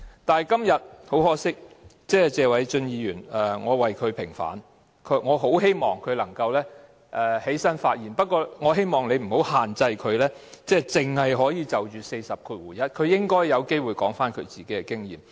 很可惜，今天我要為謝偉俊議員平反，我很希望他能夠站起來發言，但希望代理主席不要限制他只可就第401條發言，讓他有機會講述自己的經驗。